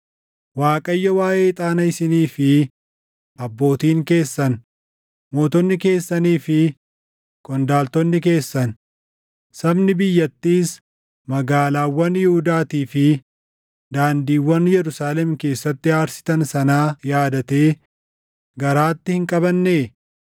“ Waaqayyo waaʼee ixaana isinii fi abbootiin keessan, mootonni keessanii fi qondaaltonni keessan, sabni biyyattiis magaalaawwan Yihuudaatii fi daandiiwwan Yerusaalem keessatti aarsitan sanaa yaadatee garaatti hin qabannee?